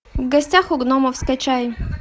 в гостях у гномов скачай